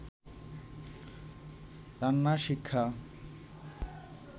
রান্না শিক্ষা